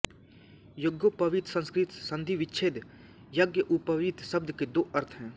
यज्ञोपवीत संस्कृत संधि विच्छेद यज्ञउपवीत शब्द के दो अर्थ हैं